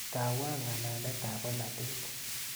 Tawaa ng'alaletap polatet.